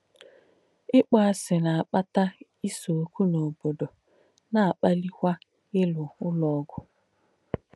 Ìkpọ́àsì nà-àkpàtà ìsẹ́ọ̀kù n’òbòdō, nà-àkpàlìkwà ìlú úlọ̀gụ̀.